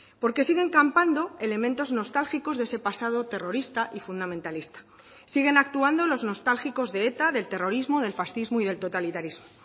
porque siguen campando elementos nostálgicos de ese pasado terrorista y fundamentalista siguen actuando los nostálgicos de eta del terrorismo del fascismo y del totalitarismo